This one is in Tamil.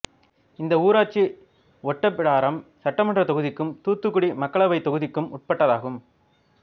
இந்த ஊராட்சி ஒட்டப்பிடாரம் சட்டமன்றத் தொகுதிக்கும் தூத்துக்குடி மக்களவைத் தொகுதிக்கும் உட்பட்டதாகும்